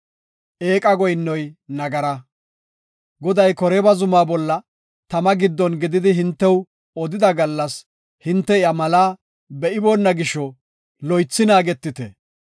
Goday Koreeba zumaa bolla tama giddon gididi hintew odida gallas hinte iya malaa be7iboona gisho loythi naagetite.